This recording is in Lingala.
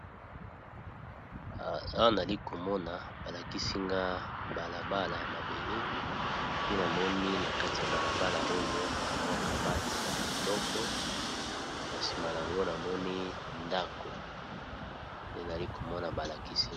Awa nazali komona balakisinga balabala ya mabele. Pe namoni na kati ya balabala oyo kamwa kabati ya kitoko. Na nsima na yango namoni ndako eali komona balakisi.